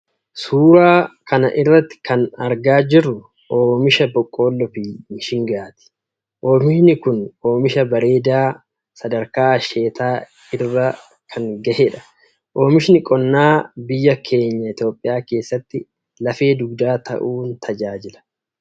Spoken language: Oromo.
Suuraa kana irratti kan argaa jirru olmisha boqqolloo fi mishingaati. Oomishni kun oomisha bareedaa Di sadarkaa asheetaa irra kan gahedha. Oomishni qonnaa biyya oeenya Itoophiyaa keessatti lafee dugdaa ta'uun tajaajila.